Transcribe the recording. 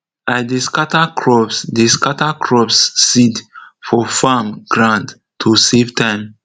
i dey scatter crops dey scatter crops seeds for farm ground to safe time